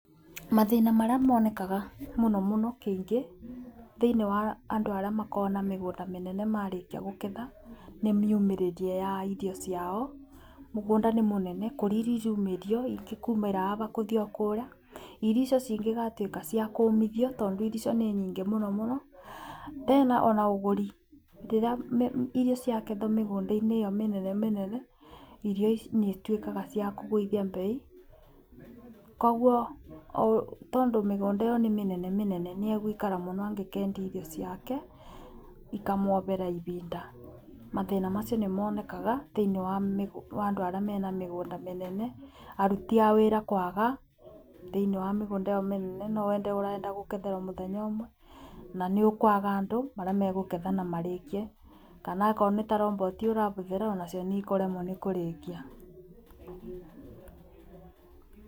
Mathina marĩa monekaga mũno mũno kũingĩ thĩinĩ wa andũ arĩa makoragwo na mĩgũnda mĩnene marĩkia kũgetha nĩ miumiriria ya irio ciao. Mũgũnda nĩ mũnene kũrĩa irio iraumĩrio ingĩkaũmĩra aba kũthiĩ o kũrĩa irio icio cingĩgatuĩka ciakumĩrio tondũ irio icio nĩ nyingĩ mũno mũno. Tena ona ũguri rĩrĩa irio ciakethwo mĩgunda-inĩ ĩyo mĩnene mĩnene irio nĩ ituĩkaga ciakũgũithia mbei, koguo tondũ mĩgũnda ĩyo nĩ mĩnene mĩnene nĩ egũikara mũno angĩkendia irio ciake ikamwabĩra ibinda. Mathĩna macio nĩ monekaga thiinĩ wa andũ arĩa mena mĩgunda mĩnene, aruti a wĩra kwaga thĩinĩ wa mĩgũnda ĩyo mĩnene, nĩ wende ũrenda kũgetherwo mũthenya ũmwe, na nĩ ũkwaga andũ arĩa makũgetha na marĩkie, kana okorwo nĩ ta roboti ũrabũthĩra onacio nĩ ikũremwo nĩ kũrĩkia.